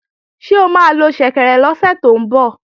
Ṣé o máa lo ṣẹ̀kẹ̀rẹ̀ lọ́sẹ̀ tó ń bọ̀?